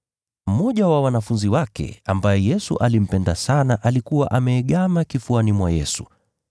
Mmoja wa wanafunzi wake ambaye Yesu alimpenda sana, alikuwa ameegama kifuani mwa Yesu.